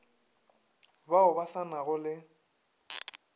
bao ba sa nago le